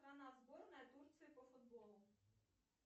страна сборная турции по футболу